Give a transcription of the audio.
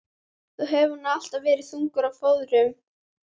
Þú hefur nú alltaf verið þungur á fóðrum.